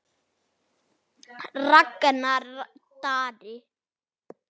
Ragnar Darri.